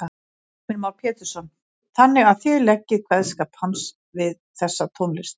Heimir Már Pétursson: Þannig að þið leggið kveðskap hans við þessa tónlist?